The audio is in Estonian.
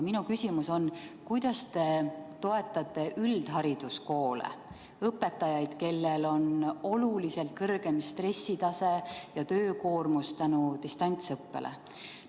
Minu küsimus on, kuidas te toetate üldhariduskoole, õpetajaid, kellel on oluliselt kõrgem stressitase ja töökoormus distantsõppe tõttu.